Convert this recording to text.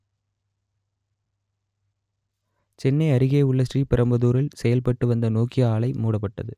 சென்னை அருகேயுள்ள ஸ்ரீபெரும்புதூரில் செயல்பட்டு வந்த நோக்கியா ஆலை மூடப்பட்டது